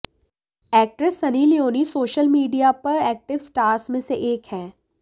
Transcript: actress Sunny Leone social media पर active stars में से एक हैं